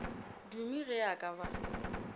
dume ge a ka ba